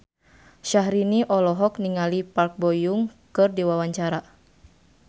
Syahrini olohok ningali Park Bo Yung keur diwawancara